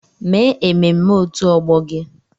Mee ememme òtù ọgbọ gị!